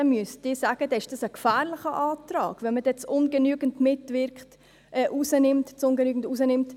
– Dann müsste ich sagen: Wenn man «ungenügend» herausnimmt, ist das ein gefährlicher Antrag.